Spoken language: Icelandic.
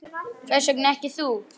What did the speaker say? Hvers vegna ekki þú?